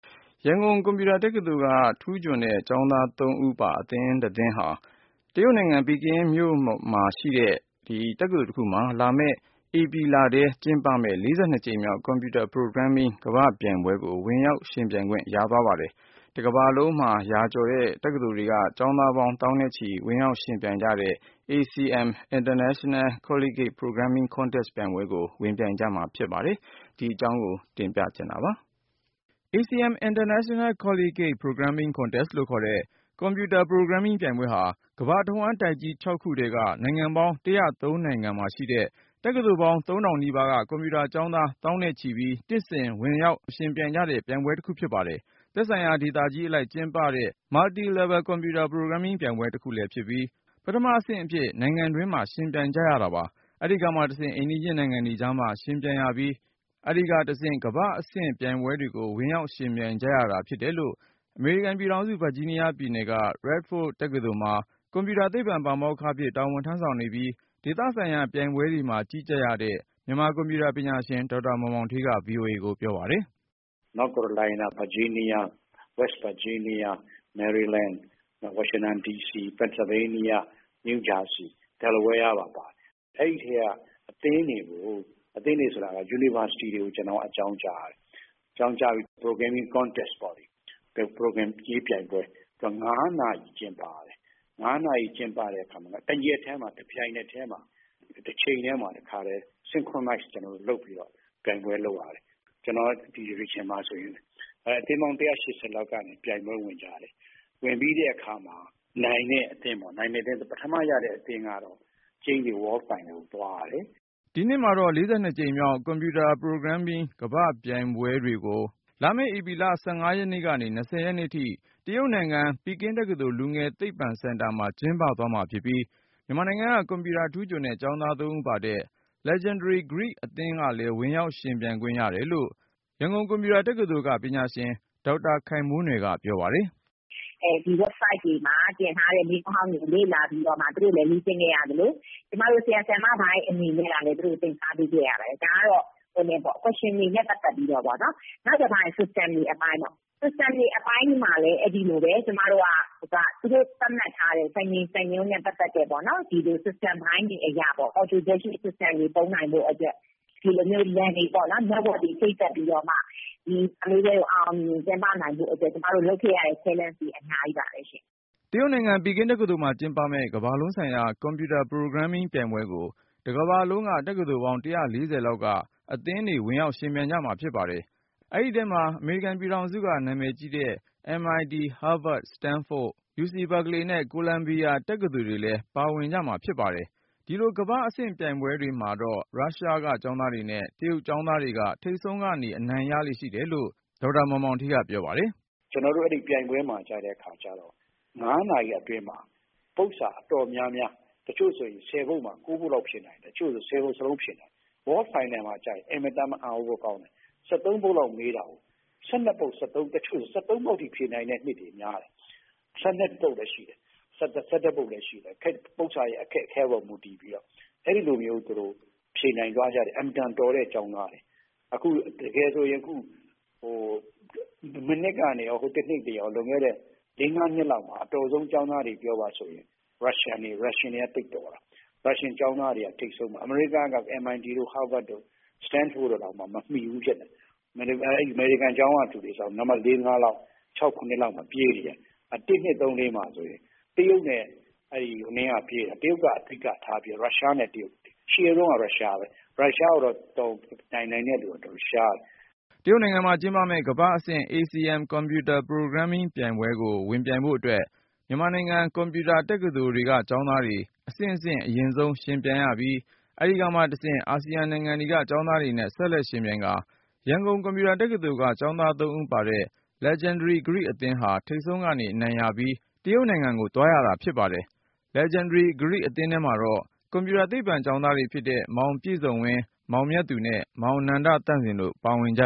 ရန်ကုန် ကွန်ပျူတာတက္ကသိုလ်က ထူးချွန်တဲ့ ကျောင်းသား ဦးပါ အသင်းတသင်းဟာ တရုတ်နိုင်ငံ ပီကင်းမြို့မှာ လာမယ့် ဧပြီလထဲ ကျင်းပမယ့် ၄၂ ကြိမ်မြောက် Computer Programming ကမ္ဘာ့ပြိုင်ပွဲကို ဝင်ရောက်ယှဉ်ပြိုင်ခွင့် ရသွားပါတယ်။ တကမ္ဘာလုံးမှာ ရာနဲ့ချီတဲ့ တက္ကသိုလ်တွေက ကျောင်းသားပေါင်း သောင်းနဲ့ချီ ဝင်ရောက်ယှဉ်ပြိုင်ကြတဲ့ ACM International Collegiate Programming Contest ပြိုင်ပွဲကို ဝင်ပြိုင်ကြမှာ ဖြစ်ပါတယ်။ အကြောင်းစုံကိုတော့ ဆက်သွယ်မေးမြန်းထားတဲ့ ကိုဉာဏ်ဝင်းအောင်က တင်ပြပါမယ်။ ACM International Collegiate Programming Contest လို့ခေါ်တဲ့ Computer Programming ပြိုင်ပွဲဟာ ကမ္ဘာတစ်ဝှမ်း တိုက်ကြီး ခု ထဲက နိုင်ငံပေါင်း နိုင်ငံမှာရှိတဲ့ တက္ကသိုလ်ပေါင်း ထောင်နီးပါက ကွန်ပျူတာကျောင်းသား သောင်းနဲ့ချီပြီး နှစ်စဉ် ဝင်ရောက်ယှဉ်ပြိုင် ကြတဲ့ ပြိုင်ပွဲတခုဖြစ်ပါတယ်။ သက်ဆိုင်ရာ ဒေသကြီးအလိုက် ကျင်းပပြုလုပ်တဲ့ Multi-level Computer Programming ပြိုင်ပွဲတစ်ခုလည်း ဖြစ်ပြီး ပထမအဆင့် နိုင်ငံတွင်းမှာ ယှဉ်ပြိုင်ရပါတယ်။ အဲဒီကမှတဆင့်အိမ်နီးနားချင်းနိုင်ငံတွေကြားမှာ ယှဉ်ပြိုင်ရပြီး၊ အဲဒီကမှတဆင့် ကမ္ဘာ့အဆင့် ပြိုင်ပွဲကို ဝင်ရောက်ယှဉ်ပြိုင် ကြရတာဖြစ်တယ်လို့ အမေရိကန်ပြည်ထောင်စု ဗာဂျီးနီးယားပြည်နယ်က Radford University မှာ ကွန်ပျူတာသိပ္ပံ ပါမောက္ခအဖြစ် တာဝန်ထမ်းဆောင်နေပြီး ဒေသဆိုင်ရာ ပြိုင်ပွဲတွေမှာ ကြီးကြပ်ရတဲ့ မြန်မာ ကွန်ပျူတာပညာရှင် ဒေါက်တာ မောင်မောင်ဌေးက VOA ကိုပြောပါတယ်။ " North Carolina၊ Virginia၊ West Virginia၊ Maryland၊ Washington D.C ၊ Pennsylvania၊ New Jersey ၊ Delaware ပါတယ်။ အဲဒီအထဲက အသင်းတွေ ၊ အသင်းဆိုတာက University တွေကို အကြောင်းကြားရတယ်။ အကြောင်းကြားပြီး Programming Contest ပေါ့လေ Programရေးပြိုင်ပွဲ ၅ နာရီ ကျင်းပရတယ်။ ၅ နာရီကျင်းပပြီး တရက်တည်းမှာ တပြိုင်တည်း တချိန်တည်းမှာ တခါတည်း synchronize လုပ်ပြီးတော့ ပြိုင်ပွဲ လုပ် ရတယ်။ ကျနော်ဒီ Division မှာဆိုရင် အသင်းပေါင်း ၁၈၀ လောက်ကနေ ပြိုင်ပွဲဝင်ကြရတယ်။ ဝင်ပြီးတဲ့အခါမှာ ပထမရတဲ့အသင်းက World final ကျိန်းသေ သွားရတယ်။" ဒီနှစ်မှာတော့ ၄၂ ကြိမ်မြောက် Computer Programming ကမ္ဘာ့ပြိုင်ပွဲ (42th World Finals of the ACM International Collegiate Programming Contest)ကို လာမယ့်ဧပြီလ (၁၅ ရက်နေ ၂၀ ရက်နေ့ထိ) တရုတ်နိုင်ငံ ပီကင်းမြို့ ပီကင်းတက္ကသိုလ် လူငယ်သိပ္ပံစင်တာမှာ ကျင်းပသွားမှာဖြစ်ပြီး မြန်မာနိုင်ငံက ကွန်ပျူတာထူးချွန်တဲ့ ကျောင်းသား ဦးပါ Legendary Geek အသင်းလဲ ဝင်ရောက်ယှဉ်ပြိုင်ခွင့် ရတယ်လို့ ရန်ကုန်ကွန်ပျူတာတက္ကသိုလ်က ပညာရှင် ဒေါက်တာ ခိုင်မိုးနွယ်က ပြောပါတယ်။ "ဒီ Website တွေမှာ တင်ထားတဲ့မေးခွန်းဟောင်းတွေကို သူတို့လည်း လေ့ကျင့်ခဲ့ရသလို ကျမတို့ ဆရာ၊ ဆရာမပိုင်းတွေအနေနဲ့ကလည်း သင်ကြားပေးခဲ့ရတယ်။ ဒါကတော့ Question တွေနဲ့ ပတ်သက်ပြီးတော့ပေါ့နော်။ နောက်တခါ System တွေအပိုင်းပေါ့နော် System တွေအပိုင်းမှာလည်း အဲဒီလိုပဲ သူတို့သတ်မှတ်ထားတဲ့ စံချိန်စံညွှန်းနဲ့ ပတ်သက်ပြီးတော့ ဒီ System ပိုင်းတွေအရပေါ့နော် ဒီ System တွေသုံးနိုင်ဖို့အတွက် Network တွေချိတ်ဆက်ပြီးတော့ ဒီပြိုင်ပွဲကို အောင်အောင်မြင်မြင်ကျင်းပနိုင်ဖို့အတွက် ကျမတို့လုပ်ခဲ့ရတဲ့ အဆင့်တွေအများကြီးပါပဲရှင့်။" တရုတ်နိုင်ငံ ပီကင်းတက္ကသိုလ်မှာကျင်းပမယ့် ကမ္ဘာလုံးဆိုင်ရာ Computer Programming ပြိုင်ပွဲကို တစ်ကမ္ဘာလုံးက တက္ကသိုလ်ပေါင်း ၁၄၀ လောက်က အသင်းတွေ ဝင်ပြိုင်ကြမှာ ဖြစ်ပါတယ်။ အဲဒီထဲမှာ အမေရိကန်က နာမည်ကြီး တက္ကသိုလ်တွေဖြစ်တဲ့ MIT, Harvard, Stanford, Carnelgle Mellon, UC Berkeley နဲ့ Columbia တက္ကသိုလ်တွေလဲ ပါဝင်ကြမှာဖြစ်ပါတယ်။ ဒီလို ကမ္ဘာ့အဆင့်ပြိုင်ပွဲတွေမှာတော့ ရုရှားက ကျောင်းသားတွေနဲ့ တရုတ်ကျောင်းသားတွေက ထိပ်ဆုံးကနေ အနိုင်ရလေ့ရှိတယ်လို့ ဒေါက်တာ မောင်မောင်ဌေးက VOA ကိုပြောပါတယ်။ " ကျနော်တို့ အဲဒီပြိုင်ပွဲမှာ ကျတဲ့အခါကျတော့ ၅ နာရီအတွင်းမှာ ပုဒ်စာအတော်များများ တချို့ဆို ၁၀ ပုဒ်မှာ ၉ ပုဒ်လောက်ဖြေနိုင်တယ်။ တချို့ဆို ၁၀ ပုဒ်စလုံးဖြေနိုင်တယ်။ World Final မှာက အင်မတန်မှ အံသြစရာကောင်းတယ် ၁၃ ပုဒ်လောက်မေးတာကို ၁၂ ပုဒ် ၊ တချို့ဆို ၁၃ ပုဒ်စလုံးဖြေနိုင်တဲ့နှစ်တွေများတယ်။ ၁၂ ပုဒ် လည်းရှိတယ် ၁၁ ပုဒ် လည်းရှိတယ်။ ပုဒ်စာ အခက်အခဲအပေါ် မူတည်ပြီးတော့ သူတို့ဖြေနိုင်သွားကြတယ်။ အင်မတန် တော်တဲ့ကျောင်းသား။ တကယ်ဆိုရင် အခု မနှစ်ကနေ တနှစ်တွေရော လွန်ခဲ့တဲ့ ၄-၅ နှစ်လောက်မှာ အတော်ဆုံးကျောင်းသားတွေပြောပါဆိုရင် Russian တွေ သိပ်တော်တာ၊ Russian ကျောင်းသားတွေ ထိပ်ဆုံးမှာ။ အမေရိကတော့ MIT, Harvard, Stanford တွေတောင်မမှီဘူးဖြစ်တယ်။ အမေရိကန် ကျောင်းကလူတွေဆိုရင် နံပတ် ၄-၅ တို့ ၆-၇ တို့မှာ ပြေးနေတယ်။ ၁၊၂၊၃၊၄ မှာဆိုရင် တရုတ်ကအဓိကထားပြီးတော့ Russia ကပြေးနေတယ်။ အရှေ့ဆုံးကတော့ Russia ပဲ ၊ Russia ကို ယှဉ်နိုင်တဲ့လူက ရှားတယ်။" တရုတ်နိုင်ငံမှာကျင်းပမယ့် ကမ္ဘာ့အဆင့် ACM Computer Programming ပြိုင်ပွဲကိုဝင်ပြိုင်ဖို့အတွက် မြန်မာနိုင်ငံ ကွန်ပျူတက္ကသိုလ်တွေက ကျောင်းသားတွေ အဆင့်ဆင့် အရင်ဆုံးဝင်ပြိုင်ရပြီး ၊ အဲဒီကမှတဆင့် အာဆီယံနိုင်ငံတွေက ကျောင်းသားတွေနဲ့ ဆက်လက်ယှဉ်ပြိုင်ကာ ရန်ကုန် ကွန်ပျူတာတက္ကသိုလ်က ကျောင်းသား ဦးပါတဲ့ Legendary Geek အသင်းဟာ ထိပ်ဆုံးက အနိုင်ရပြီး တရုတ်နိုင်ငံကို သွားရတာ ဖြစ်ပါတယ်။ Legendary Geek အသင်းထဲမှာတော့ ကွန်ပျူတာသိပ္ပံကျောင်းသားတွေဖြစ်တဲ့ မောင်ပြည့်စုံဝင်း၊ မောင်မြတ်သူနဲ့ မောင် နန္ဒသန့်စင် တို့ပါဝင်ကြ